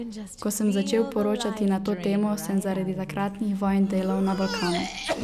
Ko sem začel poročati na to temo, sem zaradi takratnih vojn delal na Balkanu.